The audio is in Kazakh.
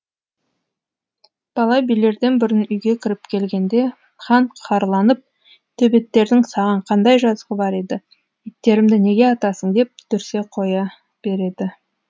бала билерден бұрын үйге кіріп келгенде хан қаһарланып төбеттердің саған қандай жазығы бар еді иттерімді неге атасың деп дүрсе қоя береді